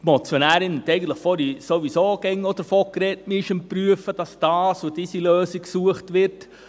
Die Motionärin hat vorhin sowieso davon gesprochen, man sei daran zu prüfen, damit die eine oder andere Lösung gesucht wird.